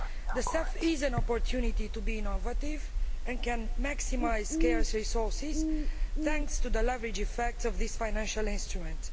The CEF is an opportunity to be innovative and can maximise scarce resources thanks to the leverage effects of this financial instrument.